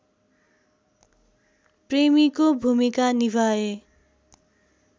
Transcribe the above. प्रेमीको भूमिका निभाए